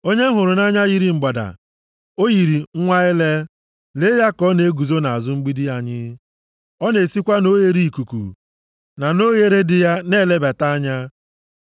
Onye m hụrụ nʼanya yiri mgbada, o yiri nwa ele. Lee ya ka ọ na-eguzo nʼazụ mgbidi anyị, ọ na-esikwa na oghereikuku na nʼoghere dị ya na-elebata anya.